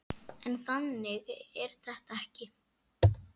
En þannig er þetta ekki.